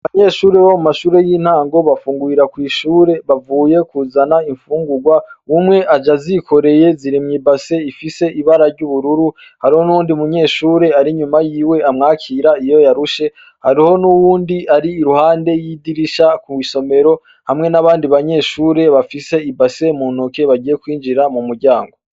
Abanyeshure bo mumashure y'intango bafungurira kw'ishure bavuye kuzana imfungugwa umwe aje azikoreye ziri mw'ibase ifise ibara ry'ubururu hariho n'uyundi munyeshure ari inyuma yiwe amwakira iyo yarushe, hariho n'uwundi ari iruhande y'idirisha kw'isomero hamwe n'abandi banyeshure bafise ibase muntoke bagiye kwinjira mu muryango.